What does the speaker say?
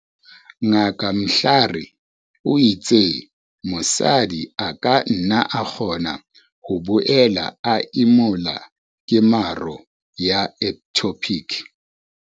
Ngaka Mhlari o itse mo-sadi a ka nna a kgona ho boela a emola kemaro ya ectopic.